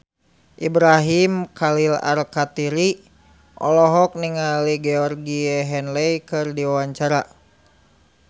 Ibrahim Khalil Alkatiri olohok ningali Georgie Henley keur diwawancara